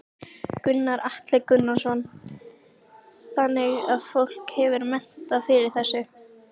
Gunnar Atli Gunnarsson: Þannig að fólk hefur metnað fyrir þessu?